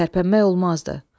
Tərpənmək olmazdı.